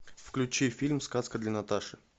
включи фильм сказка для наташи